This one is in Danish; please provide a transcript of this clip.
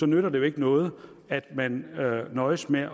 nytter det jo ikke noget at man nøjes med